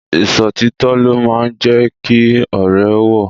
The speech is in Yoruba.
Ìṣòtítọ́ ló máa ń jẹ́ kí ọ̀rẹ́ wọ̀